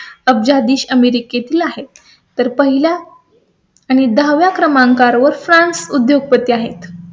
अब्जाधीश अमेरिकेतील आहेत तर पहिल्या. आणि दहा व्या क्रमांकावर फ्रांस उद्योगपती आहेत.